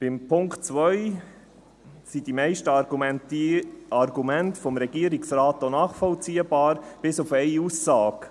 Beim Punkt 2 sind die meisten Argumente des Regierungsrates nachvollziehbar, bis auf eine Aussage: